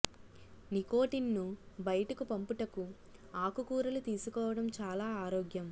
nicotine ను బయటకు పంపుటకు ఆకు కూరలు తీసుకోవడం చాలా ఆరోగ్యం